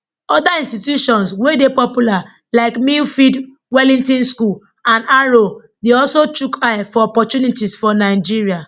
oda institutions wey dey popular like millfield wellington school and harrow dey also chook eye for opportunities for nigeria